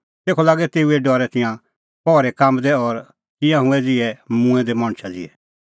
तेखअ लागै तेऊए डरै तिंयां पहरी काम्बदै और तिंयां हुऐ ज़िहै मूंऐं दै मणछा ज़िहै